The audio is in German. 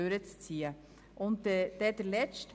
Noch zum letzten Rückweisungsantrag